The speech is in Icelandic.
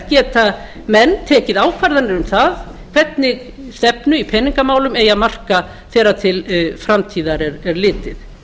geta menn tekið ákvarðanir um það hvernig stefnu í peningamálum eigi að marka þegar til framtíðar er litið